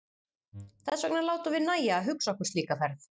Þess vegna látum við nægja að hugsa okkur slíka ferð!